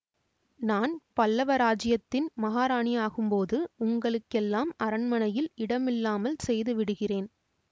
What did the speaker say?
நான் பல்லவ இராஜ்யத்தின் மகாராணியாகும் போது உங்களுக்கெல்லாம் அரண்மனையில் இடமில்லாமல் செய்து விடுகிறேன்